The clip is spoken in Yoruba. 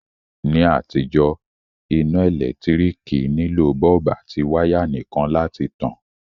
Ní àtijó, iná ẹ́lẹ̀ntirikì nilò bulb àti wire nìkan láti tan